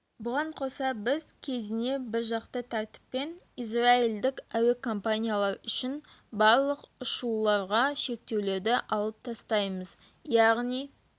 бұған қоса біз кезіне біржақты тәртіппен израильдік әуе компанияар үшін барлық ұшуларға шектеулерді алып тастаймыз яғни